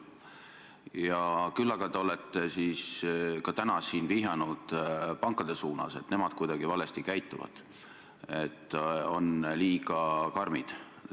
Küll aga olete teie täna siin vihjanud pankade suunas, et nemad käituvad kuidagi valesti, on liiga karmid.